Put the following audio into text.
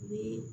Ni